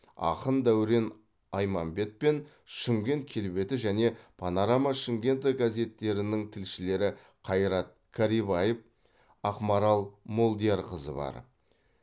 ақын дәурен айманбет пен шымкент келбеті және панорама шымкента газеттерінің тілшілері қайрат карибаев ақмарал молдиярқызы бар